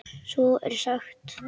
Svo er sagt.